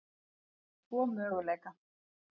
um tvo möguleika.